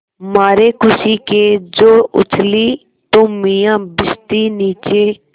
मारे खुशी के जो उछली तो मियाँ भिश्ती नीचे